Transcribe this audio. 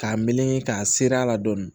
K'a meleke k'a seri a la dɔɔni